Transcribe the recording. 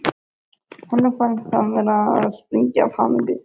Honum fannst hann vera að springa af hamingju.